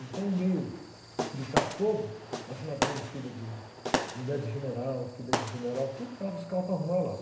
Então o meio militar todo, as madames, filha de, mulher de general, filha de general, tudo, levava os carros para arrumar lá.